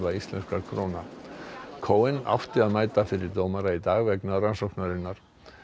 íslenskra króna átti að mæta fyrir dómara í dag vegna rannsóknarinnar